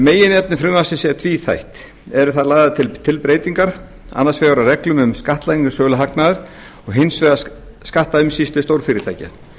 meginefni frumvarpsins er tvíþætt eru þar lagðar til breytingar annars vegar á reglum um skattlagningu söluhagnaðar og hins vegar skattaumsýslu stórfyrirtækja